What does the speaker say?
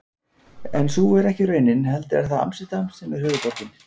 En sú er ekki raunin heldur er það Amsterdam sem er höfuðborgin.